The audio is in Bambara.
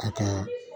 A ka